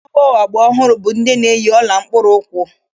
Ụmụ agbọghọ agba ọhụrụ bụ ndị na-eyi ọla mkpụrụụkwụ